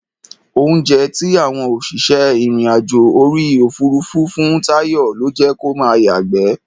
Oúnjẹ tí àwọn òṣìṣẹ́ ìrìn-àjò orí òfuurufú fún Táyọ̀ ló jẹ́ kó máa yàgbẹ́.